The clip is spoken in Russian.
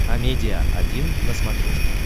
амедиа один на смотрешке